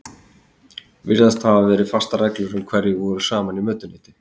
Virðast hafa verið fastar reglur um hverjir voru saman í mötuneyti.